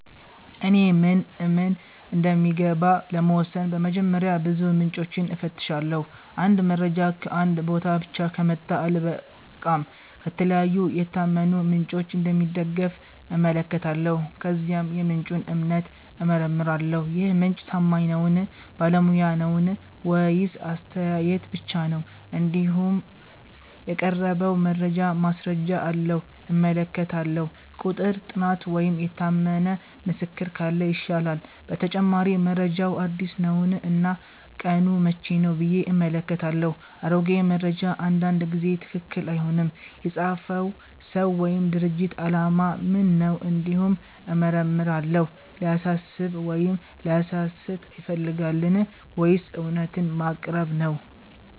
እኔ ምን እምን እንደሚገባ ለመወሰን በመጀመሪያ ብዙ ምንጮችን እፈትሻለሁ። አንድ መረጃ ከአንድ ቦታ ብቻ ከመጣ አልበቃም፤ ከተለያዩ የታመኑ ምንጮች እንደሚደገፍ እመለከታለሁ። ከዚያም የምንጩን እምነት እመረምራለሁ -ይህ ምንጭ ታማኝ ነዉን ?ባለሙያ ነዉን ?ወይስ አስተያየት ብቻ ነው ?እንዲሁም የቀረበው መረጃ ማስረጃ አለዉን እመለከታለሁ፤ ቁጥር፣ ጥናት ወይም የታመነ ምስክር ካለ ይሻላል። በተጨማሪ መረጃው አዲስ ነውን እና ቀኑ መቼ ነው ብዬ እመለከታለሁ፤ አሮጌ መረጃ አንዳንድ ጊዜ ትክክል አይሆንም። የፃፈው ሰው ወይም ድርጅት አላማ ምን ነው እንዲሁም እመረምራለሁ፤ ሊያሳስብ ወይም ሊያሳስት ይፈልጋልን ወይስ እውነትን ማቅረብ ነው